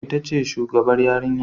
Ita ce shugabar yarinya